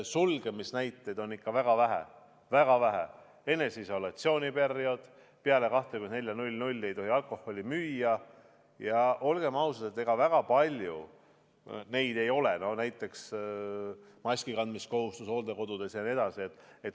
Sulgemise näiteid on ikka väga vähe: eneseisolatsiooni periood, peale 24.00 ei tohi alkoholi müüa, näiteks maski kandmise kohustus hooldekodudes, mõned veel.